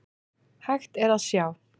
Hægt er að sjá